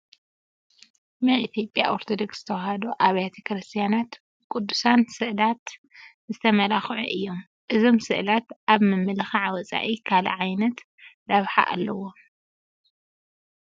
ናይ ኢትዮጵያ ኦርቶዶክስ ተዋህዶ ኣብያተ ክርስቲያናት ብቅዱሳን ስእላት ዝተመላኽዑ እዮም፡፡ እዞም ስእላት ካብ ምምልኻዕ ወፃኢ ካልእ እንታይ ዓይነት ረብሓ ኣለዎም?